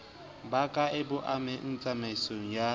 bakae ba amehang tsamaisong ya